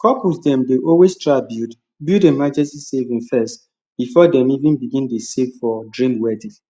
couples dem dey always try build build emergency savings first before dem even begin to dey save for dream wedding